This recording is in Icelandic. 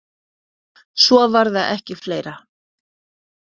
Svo var það ekki fleira.